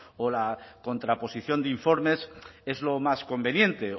o la contraposición de informes es lo más conveniente